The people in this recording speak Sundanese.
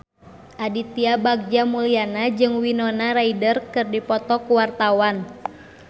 Aditya Bagja Mulyana jeung Winona Ryder keur dipoto ku wartawan